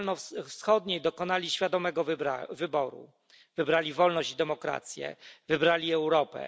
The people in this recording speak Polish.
Środkowo Wschodniej dokonali świadomego wyboru, wybrali wolność i demokrację, wybrali Europę.